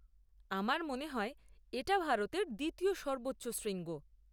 আমার মনে হয় এটা ভারতের দ্বিতীয় সর্বোচ্চ শৃঙ্গ?